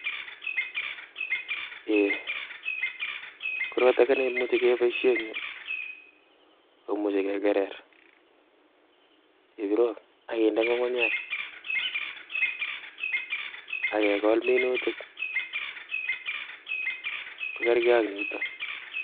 Ei, korot age neimuche keboishien en yu, koimuche kekerer, ak kinde ngungunyek ak kegol minutik kokerkei ak nitook